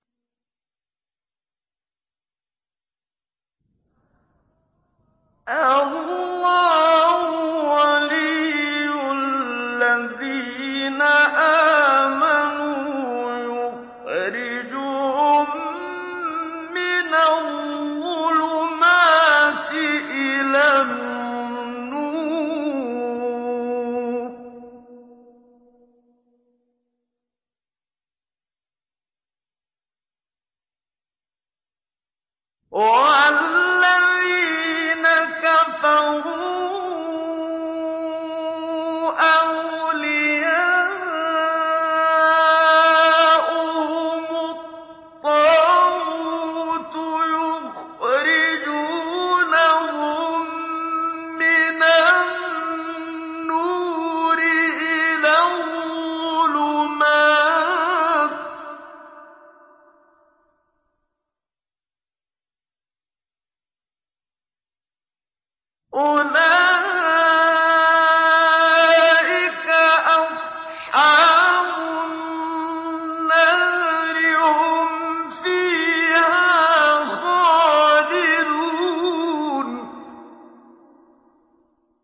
اللَّهُ وَلِيُّ الَّذِينَ آمَنُوا يُخْرِجُهُم مِّنَ الظُّلُمَاتِ إِلَى النُّورِ ۖ وَالَّذِينَ كَفَرُوا أَوْلِيَاؤُهُمُ الطَّاغُوتُ يُخْرِجُونَهُم مِّنَ النُّورِ إِلَى الظُّلُمَاتِ ۗ أُولَٰئِكَ أَصْحَابُ النَّارِ ۖ هُمْ فِيهَا خَالِدُونَ